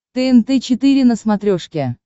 тнт четыре на смотрешке